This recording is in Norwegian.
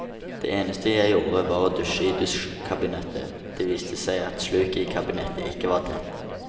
Det eneste jeg gjorde var å dusje i dusjkabinett, det viste seg at sluket i kabinettet ikke var tett.